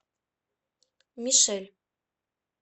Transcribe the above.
мишель